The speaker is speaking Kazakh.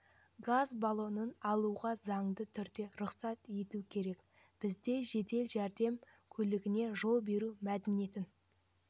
газ баллонын алуға заңды түрде рұқсат ету керек бізде жедел жәрдем көлігіне жол беру мәдениетін